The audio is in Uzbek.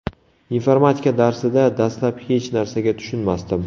Informatika darsida dastlab hech narsaga tushunmasdim.